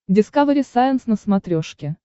дискавери сайенс на смотрешке